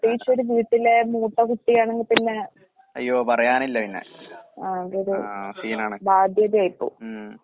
അയ്യോ പറയാനില്ല പിന്നെ. ആഹ് സീനാണ്. ഉം.